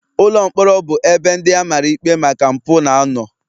Ụlọ mkpọrọ bụ ebe ndị a mara ikpe maka mpụ na-anọ